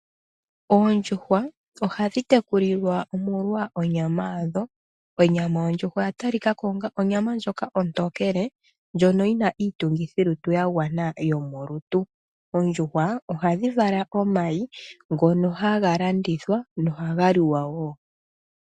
Oondjuhwa oha dhi tekulilwa omolwa onyama yadho. Onyama yondjuhwa oya talika ko onga onyama ndjoka ontokele, ndjono yi na iitungithilutu ya gwana yomolutu, oondjuhwa oha dhi vala omayi ngono haga landithwa, noha ga liwa wo.